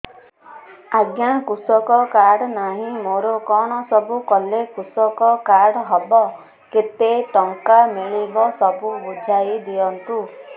ଆଜ୍ଞା କୃଷକ କାର୍ଡ ନାହିଁ ମୋର କଣ ସବୁ କଲେ କୃଷକ କାର୍ଡ ହବ କେତେ ଟଙ୍କା ମିଳିବ ସବୁ ବୁଝାଇଦିଅନ୍ତୁ